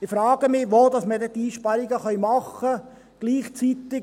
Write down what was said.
Ich frage mich, wo wir dann diese Einsparungen machen können.